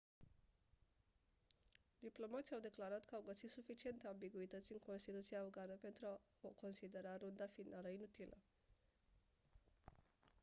diplomații au declarat că au găsit suficiente ambiguități în constituția afgană pentru a considera runda finală inutilă